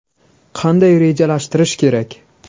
Qanday rejalashtirish kerak?